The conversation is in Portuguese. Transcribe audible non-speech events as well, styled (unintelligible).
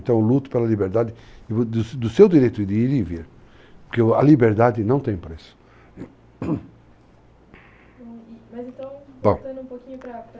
Então eu luto pela liberdade, do seu direito de ir e vir, porque a liberdade não tem preço (coughs) mas então, bom... (unintelligible)